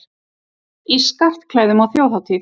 Í skartklæðum á þjóðhátíð